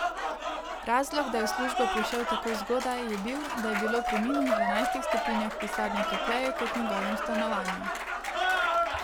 Razlog, da je v službo prišel tako zgodaj, je bil, da je bilo pri minus dvanajstih stopinjah v pisarni topleje kot v njegovem stanovanju.